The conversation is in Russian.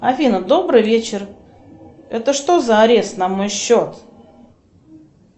афина добрый вечер это что за арест на мой счет